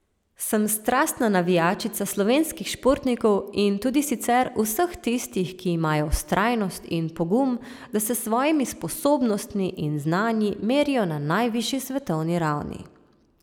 Sem strastna navijačica slovenskih športnikov in tudi sicer vseh tistih, ki imajo vztrajnost in pogum, da se s svojimi sposobnostmi in znanji merijo na najvišji svetovni ravni.